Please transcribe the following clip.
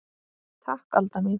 Takk Alda mín.